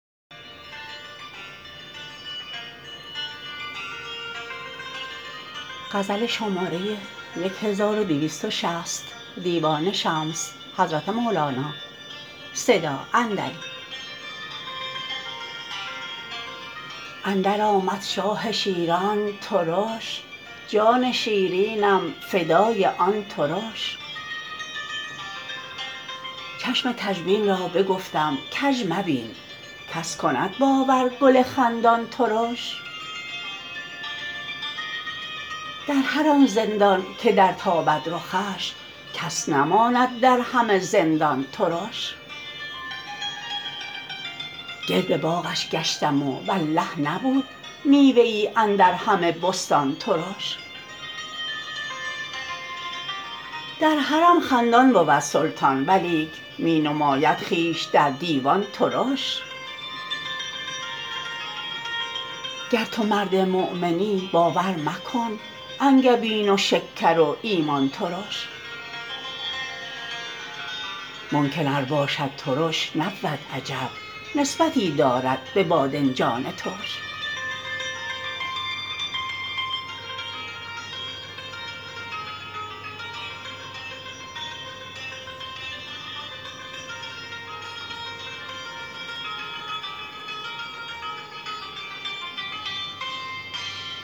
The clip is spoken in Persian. اندرآمد شاه شیرینان ترش جان شیرینم فدای آن ترش چشم کژبین را بگفتم کژ مبین کس کند باور گل خندان ترش در هر آن زندان که درتابد رخش کس نماند در همه زندان ترش گرد باغش گشتم و والله نبود میوه ای اندر همه بستان ترش در حرم خندان بود سلطان ولیک می نماید خویش در دیوان ترش گر تو مرد مؤمنی باور مکن انگبین و شکر و ایمان ترش منکر ار باشد ترش نبود عجب نسبتی دارد به بادنجان ترش